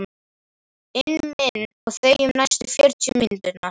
inn minn og þegjum næstu fjörutíu mínúturnar.